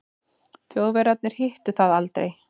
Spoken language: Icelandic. Þjóðverjarnir hittu það aldrei.